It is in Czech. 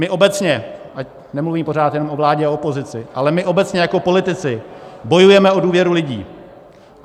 My obecně, ať nemluvím pořád jen o vládě a opozici, ale my obecně jako politici bojujeme o důvěru lidí.